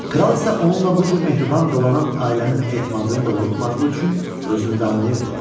Kral isə onunla bu cür mehriban dolanan ailənin etimadını doğrultmadığı üçün özünü danlayırdı.